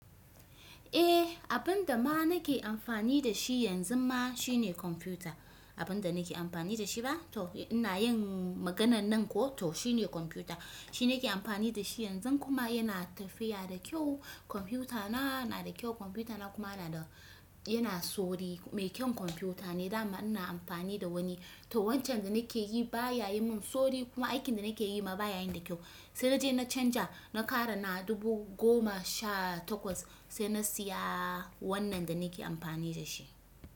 Eh abinda ma nake amfani da shi yanzun ma shine kwamfuta. Abinda nake amfani da shi ba? To ina yin maganan nan ko, to shine kwanfuta. Shi nake amfani da shi yanzu kuma yana tafiya da kyau. Kwamfuta na nada kyau kwamfuta na kuma yana sauri. Mai kyan kwamfuta ne, dama ina amfani da wani. To wancan da nake yi baya yi min sauri kuma aikin da nake yi ma baya yin da kyau. Sai naje na canza na kara na dubu goma sha takwas sai na siya wannan da nake amfani da shi.